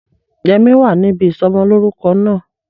Yẹmí wa níbi ìsọmọlórúko náà